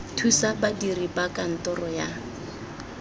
thusa badiri ba kantoro ya